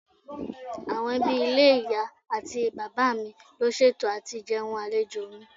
Àwọn ẹbí ilé ìyá àti bàbá mi ló ṣètò àti jẹun àlejò mi.